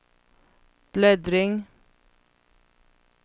bläddring